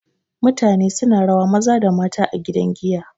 mutane suna rawa Maza da mata a gidan giya